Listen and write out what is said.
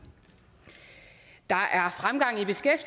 der